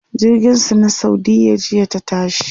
jirgin su na saudiya jiya ta tashi